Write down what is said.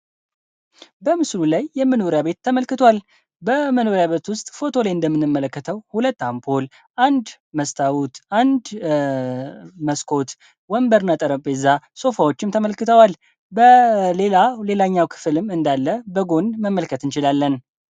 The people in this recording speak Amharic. በምስሉ ላይ የመኖሪያ ቤት ተመልክቷል በመኖሪያ ቤት ውስጥ እንደምንመለከተው ሁለት አምፖል አንድ መስታዎት አንድ መስኮት ወንበርና ጠረጴዛ ሶፋዎች ተመልክተዋል ሌላኛው ክፍልም በጎን እንዳለ መመልከት እንችላለን።